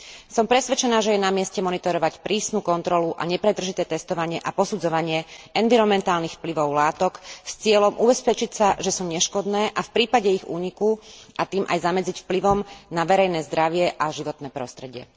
Som presvedčená, že je na mieste monitorovať prísnu kontrolu a nepretržité testovanie a posudzovanie environmentálnych vplyvov látok s cieľom ubezpečiť sa, že sú neškodné aj v prípade ich úniku, a tým aj zamedziť vplyvom na verejné zdravie a životné prostredie.